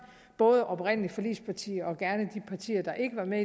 både de oprindelige forligspartier og gerne de partier der ikke var med